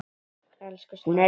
Elsku Snorri.